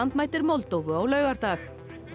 mætir Moldóvu á laugardag